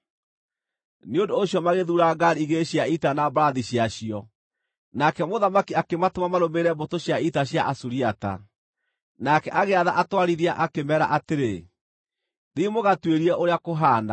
Nĩ ũndũ ũcio magĩthuura ngaari igĩrĩ cia ita na mbarathi ciacio, nake mũthamaki akĩmatũma marũmĩrĩre mbũtũ cia ita cia Asuriata. Nake agĩatha atwarithia akĩmeera atĩrĩ, “Thiĩ mũgatuĩrie ũrĩa kũhaana.”